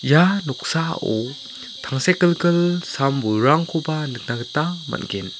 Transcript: ia noksao tangsekgilgil sam-bolrangkoba nikna gita man·gen.